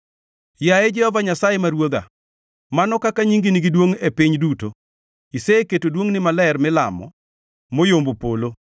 Yaye Jehova Nyasaye, ma Ruodhwa, mano kaka nyingi nigi duongʼ e piny duto! Iseketo duongʼni maler milamo, moyombo polo.